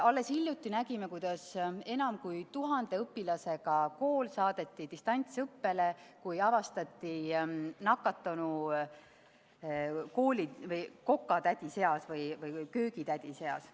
Alles hiljuti nägime, kuidas enam kui tuhande õpilasega kool saadeti distantsõppele, kui avastati nakatunu kooli köögitädide seast.